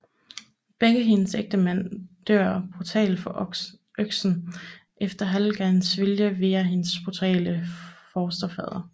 Begge hendes ægtemænd dør brutalt for øksen efter Hallgjerds vilje via hendes brutale fosterfader